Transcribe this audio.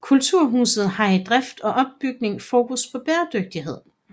Kulturhuset har i drift og opbygning fokus på bæredygtighed